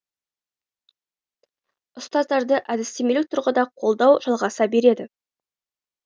ұстаздарды әдістемелік тұрғыда қолдау жалғаса береді